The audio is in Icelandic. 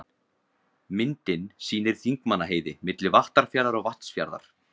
Myndin sýnir Þingmannaheiði, milli Vattarfjarðar og Vatnsfjarðar.